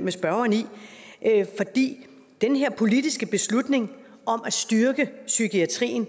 med spørgeren i i at den her politiske beslutning om at styrke psykiatrien